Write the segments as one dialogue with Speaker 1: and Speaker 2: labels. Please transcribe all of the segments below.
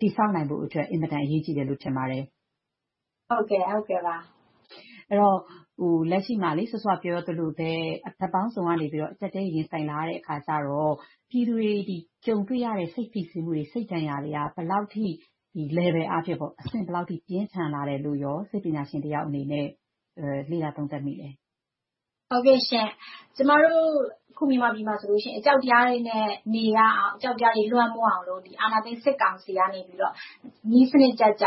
Speaker 1: တည်ဆောက်နိုင်ဖို့အတွက် အင်မတန်အရေးကြီးတယ်လို့ ထင်ပါတယ်။ အဲဒီတော့ လက်ရှိမှာ စောစောကပြောသလိုပဲ ဘက်ပေါင်းစုံကနေ အကျပ်အတည်းတွေ ရင်ဆိုင်လာရတော့ ပြည်သူတွေ ကြုံတွေ့နေရတဲ့ စိတ်ဖိစီးမှုတွေ၊ စိတ်ဒဏ်ရာတွေက ဘယ်လောက်အထိ Level အားဖြင့် အဆင့်ဘယ်လောက်အထိ ပြင်းထန်လာတယ်လို့ စိတ်ပညာရှင်တစ်ယောက်အနေနဲ့ လေ့လာသုံးသပ်မိသလဲ
Speaker 2: ။ ဖြေ ။ ။ ကျမတို့ အခုမြန်မာပြည်မှာဆိုရင် အကြောက်တရားတွေနဲ့ နေရအောင်၊ အကြောက်တရားတွေ လွှမ်းမိုးအောင်လို့ အာဏာရှင်စစ်ကောင်စီကနေ နည်းစနစ်ကျကျ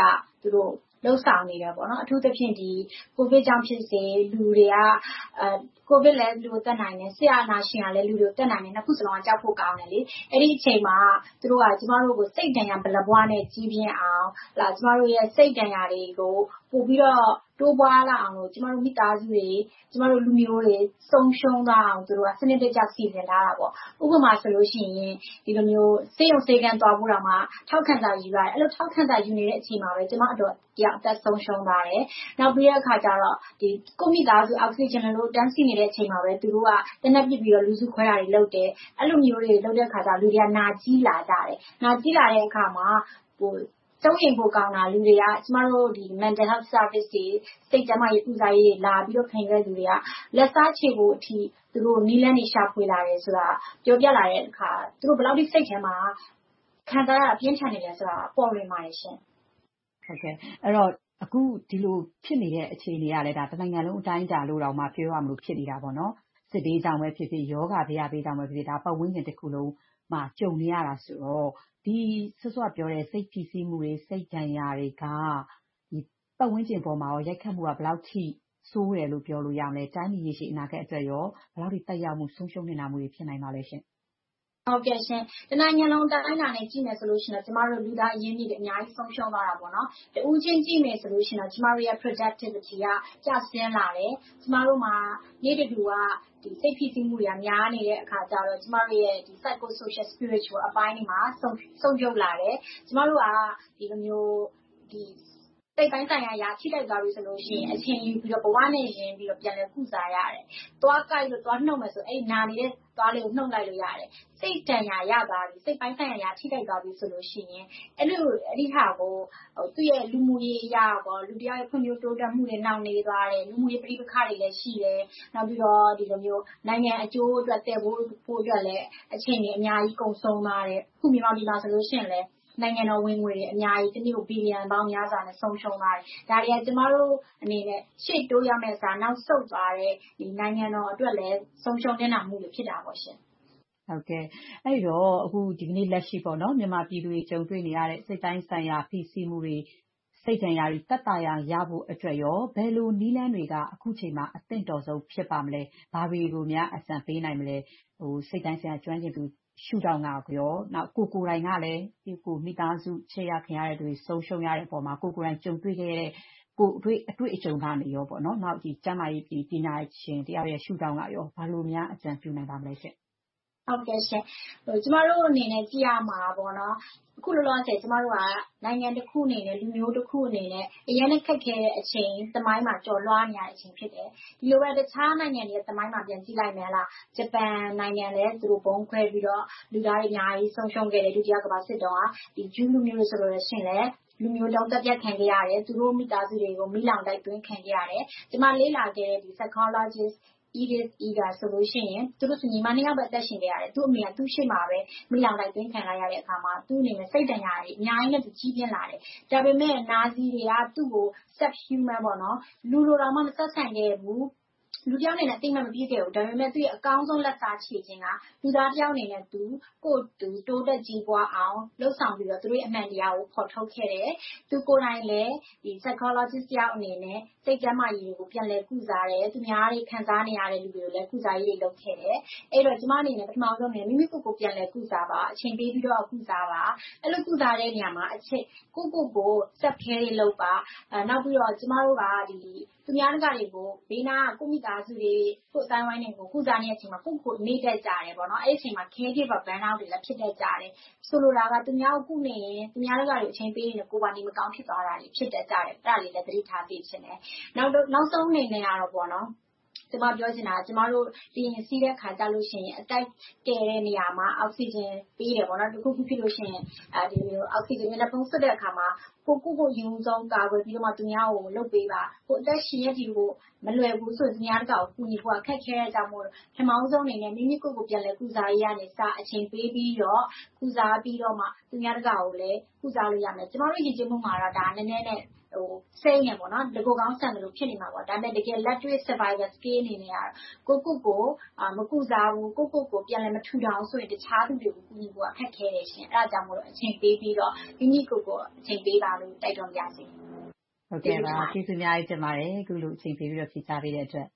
Speaker 2: လုပ်ဆောင်နေတယ်။ အထူးသဖြင့် ကိုဗစ်ကြောင့်ဖြစ်စေ၊ လူတွေက ကိုဗစ်ကလည်း လူတွေကိုသတ်နိုင်တယ်။ စစ်အာဏာရှင်ကလည်း လူတွေကိုသတ်နိုင်တယ်။ နှစ်ခုစလုံးက ကြောက်ဖို့ကောင်းတယ်။ အဲဒီအချိန်မှာ သူတို့က ကျမတို့ကို စိတ်ဒဏ်ရာ ဗလာပွနဲ့ ကြီးပြင်းအောင်။ ကျမတို့ရဲ့ စိတ်ဒဏ်ရာတွေကို ပိုပြီးတော့ တိုးပွားလာအောင်လို့ ကျမတို့မိသားစုတွေ၊ ကျမတို့လူမျိုးတွေ ဆုံးရှုံးသွားအောင်လို့ သူတို့က စနစ်တကျ စီစဉ်ထားတယ်။ ဥပမာဆိုရင် ဆေးရုံဆေးခန်းသွားဖို့တောင် ထောက်ခံစာယူရတယ်။ အဲဒီလို ထောက်ခံစာယူနေတဲ့အချိန်မှာ ကျမအဒေါ်တစ်ယောက် အသက်ဆုံးရှုံးသွားတယ်။ နောက်ပြီးတော့ ကိုယ့်မိသားစု အောက်ဆီဂျင်လိုနေလို့ တန်းစီးနေချိန်မှာပဲ သူတို့က သေနတ်ပစ်ပြီးတော့ လူစုခွဲတာတွေလုပ်တယ်။ အဲဒီလိုမျိုးတွေ လုပ်တဲ့အခါကြတော့ လူတွေက နာကျည်းလာကြတယ်။ နာကျည်းလာတဲ့အခါမှာ စိုးရိမ်ဖို့ကောင်းတာ လူတွေက ကျမတို့ Mental Health Services တွေ စိတ်ကျန်းမာရေး ကုစားရေးတွေ လာပြီးတော့ ခံယူတဲ့လူတွေက လက်စားချေဖို့အထိ နည်းလမ်းတွေ ရှာဖွေလာတယ်ဆိုတာ ပြောပြလာတဲ့အခါ သူတို့ ဘယ်လောက်ထိ စိတ်ထဲမှာ ခံစားရတာ ပြင်းထန်နေတယ်ဆိုတာ ပေါ်လွင်ပါတယ်ရှင့်
Speaker 1: ။ မေး ။ ။ အဲဒီတော့ အခုဒီလိုဖြစ်နေတဲ့ အခြေအနေက တနိုင်ငံလုံး အတိုင်းအတာလို့တောင်မှ ပြောရမလို ဖြစ်နေတာပေါ့။ စစ်ဘေးကြောင့်ဖြစ်ဖြစ်၊ ရောဂါဘယဘေးကြောင့်ဖြစ်ဖြစ် ပတ်ဝန်းကျင်တစ်ခုလုံးမှာ ကြုံနေရတာဆိုတော့ စောစောကပြောတဲ့ စိတ်ဖိစီးမှုတွေ၊ စိတ်ဒဏ်ရာတွေက ပတ်ဝန်းကျင်အပေါ်မှာ ရိုက်ခတ်မှုက ဘယ်လောက်အထိ ဆိုးဝါးတယ်လို့ ပြောလို့ရသလဲ။ တိုင်းပြည်အနာဂတ်အတွက် ဘယ်လောက်အထိ သက်ရောက်မှု ဆုံးရှုံးနစ်နာမှုတွေ ရှိပါသလဲရှင့်
Speaker 2: ။ ဖြေ ။ ။ တစ်နိုင်ငံလုံး အတိုင်းအတာနဲ့ ကြည့်မယ်ဆိုရင်တော့ ကျမတို့ လူသားအရင်းအမြစ်တွေ အများကြီးဆုံးရှုံးသွားတယ်။ တစ်ဦးချင်းကြည့်မယ်ဆိုရင်တော့ ကျမတို့ရဲ့ Productivity က ကျဆင်းလာတယ်။ ကျမတို့မှာ နေ့တဓုဝ စိတ်ဖိစီးမှုတွေက များနေတဲ့အခါကြတော့ ကျမတို့ရဲ့ Psycho Social Spiritual ပိုင်းတွေမှာ ဆုတ်ယုတ်လာတယ်။ ကျမတို့က စိတ်ပိုင်းဆိုင်ရာအရ ထိခိုက်သွားပြီဆိုရင် အချိန်ယူပြီးတော့ ဘဝနဲ့ရင်းပြီးတော့ ပြန်လည်ကုစားရတယ်။ သွားကိုက်လို့ နုတ်မယ်ဆိုရင် နာနေတဲ့ သွားလေးကို နုတ်လိုက်လို့ရတယ်။ စိတ်ဒဏ်ရာရသွားပြီ၊ စိတ်ပိုင်းဆိုင်ရာ ထိခိုက်သွားပြီဆိုရင် အဲဒီဟာကို သူ့ရဲ့ လူမှုရေးအရ၊ လူတစ်ယောက်ရဲ့ ဖွံ့ဖြိုးတိုးတက်မှု နှောင့်နှေးသွားတယ်။ လူမှုရေး ပဋိပက္ခတွေ ရှိလာတယ်။ နောက်ပြီးတော့ နိုင်ငံအကျိုးအတွက် သယ်ပိုးဖို့အတွက်လည်း အချိန်တွေ အများကြီးကုန်ဆုံးသွားတယ်။ အခုမြန်မာပြည်မှာဆိုရင် နိုင်ငံတော်ဝင်ငွေတွေ အများကြီး တစ်နေ့ကို ဘီလီယံပေါင်းများစွာ ဆုံးရှုံးသွားတယ်။ ဒါတွေက ကျမတို့အနေနဲ့ ရှေ့တိုးရမယ့်အစား နောက်ဆုတ်သွားတယ်။ နိုင်ငံတော်အတွက်လည်း ဆုံးရှုံးနစ်နာမှုတွေ ဖြစ်တာပေါ့ရှင့်။
Speaker 1: မေး ။ ။ အဲဒီတော့ ဒီကနေလက်ရှိ မြန်မာပြည်သူတွေ ကြုံတွေ့နေရတဲ့ စိတ်ပိုင်းဆိုင်ရာ ဖိစီးမှုတွေ စိတ်ဒဏ်ရာတွေ သက်သာရာရဖို့အတွက် ဘယ်လိုနည်းလမ်းတွေက အခုအချိန်မှာ အသင့်တော်ဆုံး ဖြစ်ပါမလဲ။ ဘာတွေကိုများ အကြံပေးနိုင်မလဲ။ စိတ်ပိုင်းဆိုင်ရာ ပညာရှင်ရှုထောင့်ကနေ။ ပြီးတော့ ကိုယ်ကိုယ်တိုင်ကလည်း မိသားစု ချစ်ရခင်ရတဲ့လူတွေ ဆုံးရှုံးရတဲ့အပေါ်မှာ ကိုယ်ကိုယ်တိုင်းကြုံတွေ့ခဲ့ရတဲ့ ကိုယ်တွေ့အတွေ့အကြုံကနေ ကျန်းမာရေးပညာရှင်တစ်ယောက် ရှုထောင့်ကနေ ဘယ်လိုများ အကြံပေးချင်ပါလဲရှင့်။
Speaker 2: ဖြေ ။ ။ ကျမတို့အနေနဲ့ ကြည့်ရမှာက အခုလောလောဆယ် နိုင်ငံတစ်ခုအနေနဲ့ လူမျိုးတစ်ခုအနေနဲ့ အရမ်းခက်ခဲတဲ့အချိန် သမိုင်းမှာ ကျော်လွှာနေရတာ ဖြစ်တယ်။ ဒီလိုပဲ တခြားနိုင်ငံတွေရဲ့ သမိုင်းကို ပြန်ကြည့်လိုက်ရင်လည်း ဂျပန်နိုင်ငံလည်း ဗုံးကြဲခံရပြီး လူသားတွေ အများကြီး ဒုတိယကမ္ဘာစစ်တုန်းက ဆုံးရှုံးခဲ့တယ်။ ဂျူးလူမျိုးတွေဆိုရင်လည်း လူမျိုးတုန်းသတ်ဖြတ်ခံရတယ်။ သူတို့မိသားစုတွေကို မီးလောင်းတိုက်အသွင်းခံခဲ့ရတယ်။ ကျမလေ့လာခဲ့တဲ့ Psychologist Edith Eva Eger ဆိုရင် သူတို့ဆို ညီအမနှစ်ယောက်ပဲ အသက်ရှင်ခဲ့တယ်။ သူတို့အမေဆိုရင် သူတို့ရှေ့မှာပဲ မီးလောင်းတိုက်သွင်းခံလိုက်ရတဲ့အခါမှာ သူ့အနေနဲ့ စိတ်ဒဏ်ရာတွေ အများကြီးနဲ့ ကြီးပြင်းလာတယ်။ ဒါပေမဲ့ နာဇီတွေကို သူကို Sub-human လူလိုတောင်မှ မဆက်ဆံခဲ့ဘူး။ လူတစ်ယောက်အနေနဲ့လည်း အသိအမှတ် မပြုခဲ့ဘူး။ ဒါပေမဲ့ သူ့ရဲ့ အကောင်းဆုံးလက်စားချေခြင်းက လူသားတစ်ယောက်အနေနဲ့ ကိုယ့်ကိုယ်ကို တိုးတက်ကြီးပွားအောင် လုပ်ဆောင်ပြီးတော့ အမှန်တရားကို ဖော်ထုတ်ခဲ့တယ်။ သူကိုယ်တိုင်လည်း စိတ်ပညာရှင် Psychologist တစ်ယောက်အနေနဲ့ စိတ်ကျန်းမာရေးကို ပြန်လည်ကုစားတယ်။ ခံစားနေရတဲ့ သူများတွေကိုလည်း ကုစားရေးတွေ လုပ်ခဲ့တယ်။ ကျမအနေနဲ့ ပထမဦးဆုံးပြောလို့တာက မိမိကိုယ်ကိုယ် ပြန်လည်ကုစားပါ။ အချိန်ပေးပြီးတော့ ကုစားပါ။ အဲဒီလို ကုစားတဲ့နေရာမှာ ကိုယ့်ကိုယ်ကို Selfcare လုပ်ပါ။ နောက်ပြီးတော့ ကျမတို့က သူများတကာတွေကို ဘေးနားက ကိုယ့်မိသားစုတွေ၊ ကိုယ့်အသိုင်းအဝိုင်းတွေကို ကုစားနေချိန်မှာ ကိုယ့်ကိုယ်ကို မေ့တတ်ကြတယ်။ အဲဒီအချိန်မှာ စိတ်ပင်းပန်နွမ်းနယ်မှုတွေ ဖြစ်တတ်ကြတယ်။ ဆိုလိုတာက သူများကို ကုနေရင် သူများတကာကို အချိန်ပေးရင် ကိုယ်ပါ နေမကောင်းတာတွေ ဖြစ်တတ်ကြတယ်။ အဲဒါကိုလည်း သတိထားစေချင်တယ်။ နောက်ဆုံးအနေနဲ့ ပြောချင်တာက လေယာဉ်စီးတဲ့အခါ အသက်ကယ်တဲ့နေရာမှာ အောက်ဆီဂျင်ပေးတယ်။ တစ်ခုခုဖြစ်လို့ရှိရင် အောက်ဆီဂျင် မျက်နှာဖုံးစွပ်တဲ့အခါမှာ ကိုယ့်ကိုယ်ကို အရင်ဦးဆုံးကာကွယ်ပြီးမှာ သူများကို လုပ်ပေးပါ။ ကိုယ်အသက်ရှင်နေဖို့ မလွယ်ဘူးဆိုရင် သူများကို ကူညီဖို့ ခက်ခဲတဲ့အတွက်ကြောင့်မို့ ပထမဦးဆုံး မိမိကိုယ်ကိုယ် ပြန်လည်ကုစားရေးကအစ အချိန်ပေးပြီးတော့ ကုစားပေးပြီးတော့မှ သူများတကာကိုလည်း ကုစားလို့ရမယ်။ ကျမတို့ ယဉ်ကျေးမှုမှာ နည်းနည်းတော့စိမ်းတယ်။ တကိုယ်ကောင်းဆန်သလို ဖြစ်နေမှာပေါ့။ ဒါပေမဲ့ တကယ်လက်တွေ့ Survival Skill အနေနဲ့က ကိုယ့်ကိုယ်ကို မကုစားဘူး။ ကိုယ့်ကိုယ်ကို ပြန်လည်မထူထောင်ဘူးဆိုရင် အခြားသူတွေကို ကူညီဖို့က ခက်ခဲတယ်။ အဲဒါကြောင့်မို့ အချိန်ပေးပြီးတော့ မိမိကိုယ်ကိုယ် အချိန်ပေးပါလို့ တိုက်တွန်းပါရစေ။ မခင်ဖြ
Speaker 1: ူထွေး။ ကျေးဇူးအများကြီးတင်ပါတယ်။ အခုလိုမျိုး အချိန်ပေးပြီးတော့ ဖြေကြားပေးတဲ့အတွက်